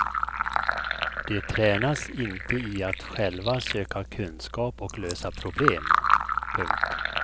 De tränas inte i att själva söka kunskap och lösa problem. punkt